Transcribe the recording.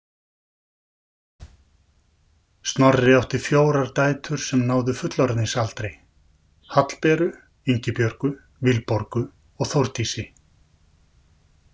Snorri átti fjórar dætur sem náðu fullorðinsaldri: Hallberu, Ingibjörgu, Vilborgu og Þórdísi.